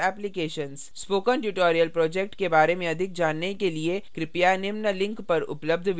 spoken tutorial project के बारे में अधिक जानने के लिए कृपया निम्न link पर उपलब्ध video देखें